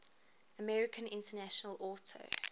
american international auto